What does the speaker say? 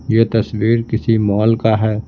यह तस्वीर किसी मॉल का है।